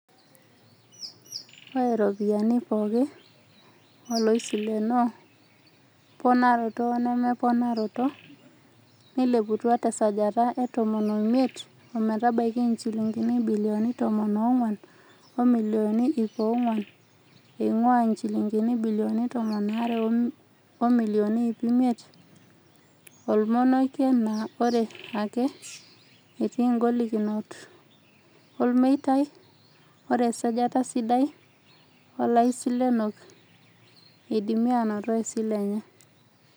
Oe ropiyiani pooki oloisilenoo - ponaroto wenemeponaroto - neileputua tesajata e tomon oimiet ometabaiki injilingini ibilioni tomon oonguan o milioni iip onguan eingua njilingini ibilioni tomon aare o milioni iip imiet, olmonokia naa ore ake etii igolikinot olmeitai, ore esajati sidai oolaisilenok eidimia aanoto isilen enye.